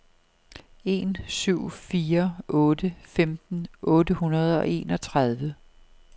en syv fire otte femten otte hundrede og enogtredive